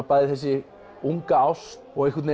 bæði þessi unga ást og einhvern